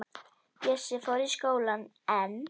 Bjössi fór í skólann en